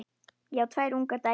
Ég á tvær ungar dætur.